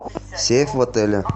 сейф в отеле